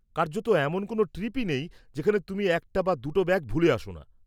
কার্যত, এমন কোনও ট্রিপই নেই যেখানে তুমি একটা বা দুটো ব্যাগ ভুলে আসো না।